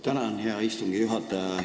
Tänan, hea istungi juhataja!